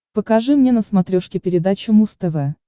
покажи мне на смотрешке передачу муз тв